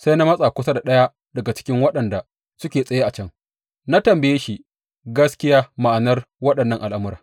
Sai na matsa kusa da ɗaya daga cikin waɗanda suke tsaye a can, na tambaye shi gaskiya ma’anar waɗannan al’amura.